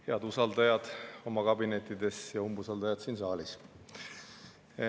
Head usaldajad oma kabinettides ja umbusaldajad siin saalis!